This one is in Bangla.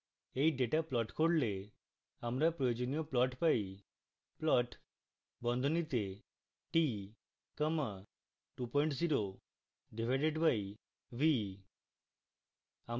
এই ডেটা plot করলে আমরা প্রয়োজনীয় plot পাই